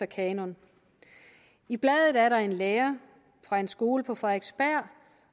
kanon i bladet er der en lærer fra en skole på frederiksberg